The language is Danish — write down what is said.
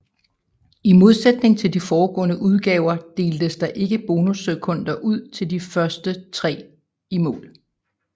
I modsætning til de foregående udgaver deltes der ikke bonussekunder ud til de tre første i mål